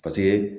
Paseke